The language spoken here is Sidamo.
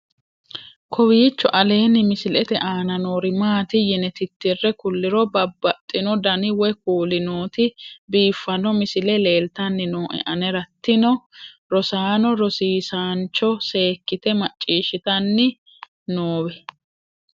kowiicho aleenni misilete aana noori maati yine titire kulliro babaxino dani woy kuuli nooti biiffanno misile leeltanni nooe anera tino rosaano rosiisancho seekkite macciishshitanni noowe